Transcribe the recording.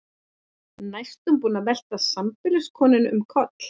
Næstum búinn að velta sambýliskonunni um koll.